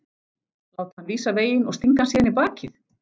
Láta hann vísa veginn og stinga hann síðan í bakið?